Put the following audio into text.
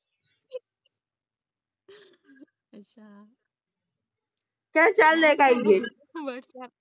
whatsaap